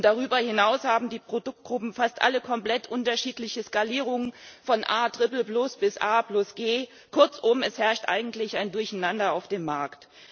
Und darüber hinaus haben die Produktgruppen fast alle komplett unterschiedliche Skalierungen von A bis A, G, kurzum, es herrscht eigentlich ein Durcheinander auf dem Markt.